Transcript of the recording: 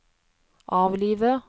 avlive